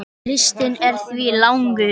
Listinn er því langur.